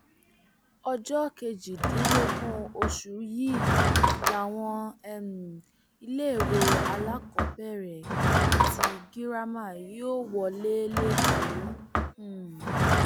ọjọ kejìdínlógún oṣù yìí làwọn um iléèwé alákọọbẹrẹ àti girama yóò wọlé lẹkọọ um